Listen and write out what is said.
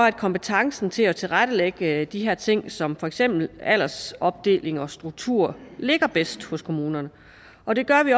at kompetencen til at tilrettelægge de her ting som for eksempel aldersopdeling og struktur ligger bedst hos kommunerne og det gør vi